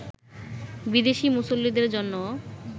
বিদেশি মুসল্লিদের জন্যও